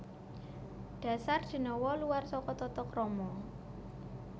Dasar denawa luwar saka tatakrama